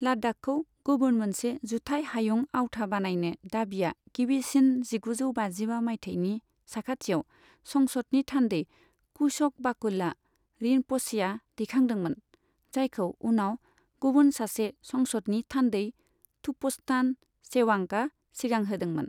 लाद्दाखखौ गुबुन मोनसे जुथाइ हायुं आवथा बानायने दाबिया गिबिसिन जिगुजौ बाजिबा मायथाइनि साखाथियाव संसदनि थान्दै कुश'क बाकुला रिनप'चेआ दैखांदोंमोन, जायखौ उनाव गुबुन सासे संसदनि थान्दै थुपस्तान चेवांगआ सिगांहोदोंमोन।